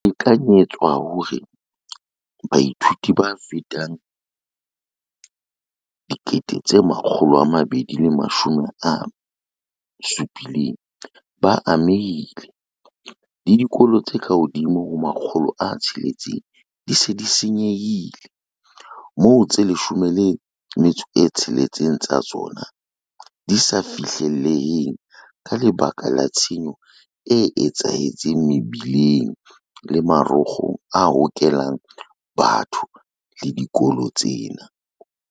Ho lekanyetswa hore baithuti ba fetang 270 000 ba amehile, le dikolo tse ka hodimo ho 600 di se nyehile, moo tse 16 tsa tsona di sa fihlelleheng ka lebaka la tshenyo e etsahetseng mebileng le marokgong a hokelang batho le dikolo tsena.